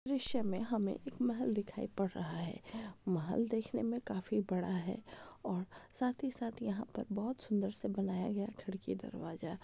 दृश्य मे हमे एक महल दिखाई पड़ रहा है महल देखने मे काफी बड़ा है और साथ ही साथ यहा पर बहुत सुंदर सा बनाया गया है खिड़की दरवाजा।